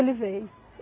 Ele veio.